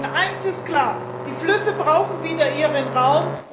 Denn eines ist klar Die Flüsse brauchen wieder ihren Raum.